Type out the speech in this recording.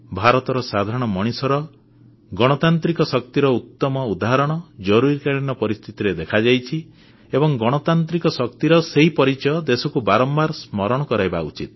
ଭାରତର ସାଧାରଣ ମଣିଷର ଗଣତାନ୍ତ୍ରିକ ଶକ୍ତିର ଉତ୍ତମ ଉଦାହରଣ ଜରୁରୀକାଳୀନ ପରିସ୍ଥିତିରେ ଦେଖାଯାଇଛି ଏବଂ ଗଣତାନ୍ତ୍ରିକ ଶକ୍ତିର ସେହି ପରିଚୟ ଦେଶକୁ ବାରମ୍ବାର ସ୍ମରଣ କରାଇବା ଉଚିତ୍